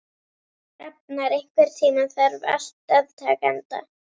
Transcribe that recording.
Rafnar, einhvern tímann þarf allt að taka enda.